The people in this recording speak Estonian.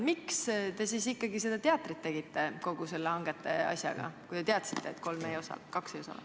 Miks te siis ikkagi seda teatrit tegite kogu selle hangete asjaga, kui te teadsite, et kaks bürood ei osale?